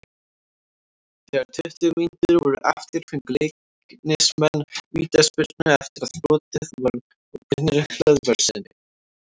Þegar tuttugu mínútur voru eftir fengu Leiknismenn vítaspyrnu eftir að brotið var á Brynjari Hlöðverssyni.